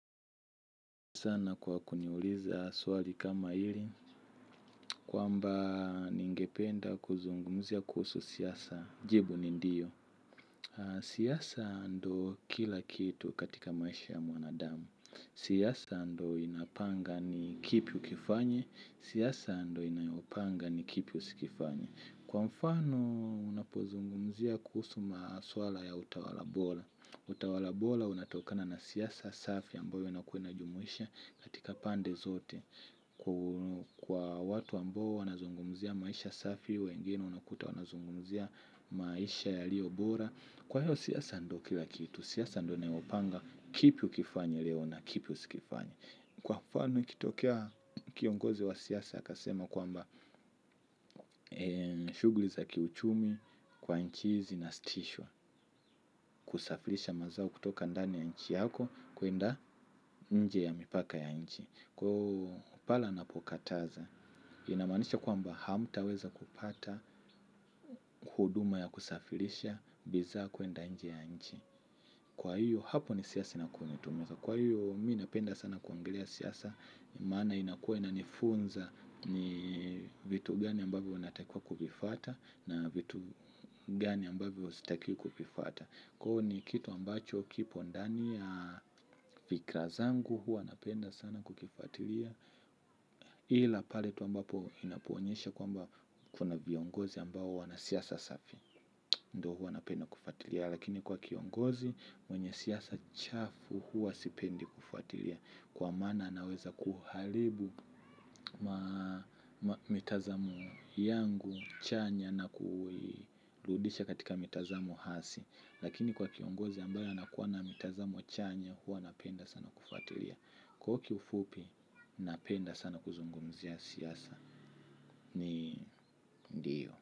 Sana kwa kuniuliza swali kama hili, kwamba ningependa kuzungumzia kuhusu siyasa, jibu ni ndiyo. Siyasa ndo kila kitu katika maisha ya mwanadamu. Siyasa ndo inapanga ni kipi ukifanye, siyasa ndo inayopanga ni kipi usikifanye. Kwa mfano, unapozungumzia kuhusu maswala ya utawala bola. Utawala bola unatokana na siyasa safi ambayo unakuwa unajumuisha katika pande zote. Kwa watu ambao wanazungumzia maisha safi wengine unakuta wanazungumzia maisha yalio bora. Kwa hiyo siyasa ndo kila kitu. Siyasa ndo naopanga kipi ukifanye leo na kipi usikifanye. Kwa mfano kitokea kiongozi wa siyasa akasema kwamba shugli za kiuchumi kwa nchi hizi zinastisho. Kusafirisha mazao kutoka ndani ya nchi yako kuenda nje ya mipaka ya nchi. Kwa hivyo pale ninapokataza inamaanisha kwamba hamtaweza kupata huduma ya kusafirisha bidhaa kuenda nje ya nchi. Kwa hivyo hapo ni siasa na kumitumeza. Kwa hivyo mimi ninapenda sana kuongelea siasa. Maana inakua inanifunza. Ni vitu gani ambavyo unatakiwa kuvifwata na vitu gani ambavyo sitakii kuvifwata. Kwa hivyo ni kitu ambacho kipo ndani ya fikra zangu huwa ninapenda sana kukifwatilia ila pale tu ambapo inapoonyesha kwamba kuna viongozi ambao wana siasa safi. Ndiyo huwa ninapenda kufuatilia. Lakini kwa kiongozi mwenye siasa chafu huwa sipendi kufuatilia. Kwa maana anaweza kuharibu mitazamo yangu chanya na kuidudisha katika mitazamo hasi. Lakini kwa kiongozi ambaye anakuwa na mitazamo chanya huwa ninapenda sana kufuatilia. Kwa hivyo kifupi ninapenda sana kuzungumzia siasa. Ni ndiyo.